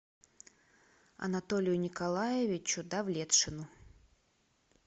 анатолию николаевичу давлетшину